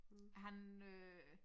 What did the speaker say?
Han øh